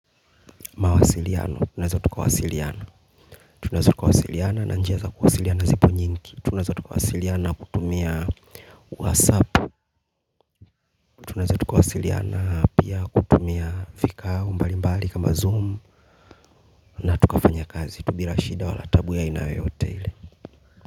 Mawasiliano tunaeza tukawasiliana tunaeza tukawasiliana na njia za kawasiliana zipo nyingi tunaaza tukawasiliana na kutumia whatsapp tunaeza tukawasiliana pia kutumia vikao mbali mbali kama zoom na tukafanya kazi tu bila shida wala taabu ya aina yoyote ile.